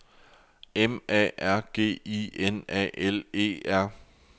M A R G I N A L E R